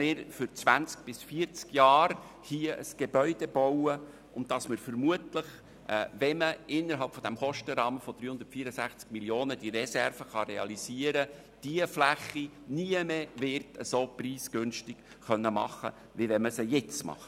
Wir bauen ein Gebäude für zwanzig bis vierzig Jahre und werden vermutlich diese Fläche nie mehr so preisgünstig bebauen können als sie innerhalb des Kostenrahmens von 364 Mio. Franken zu realisieren.